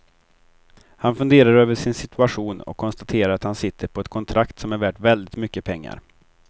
Han funderar över sin situation och konstaterar att han sitter på ett kontrakt som är värt väldigt mycket pengar.